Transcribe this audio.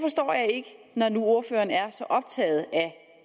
når nu ordføreren er så optaget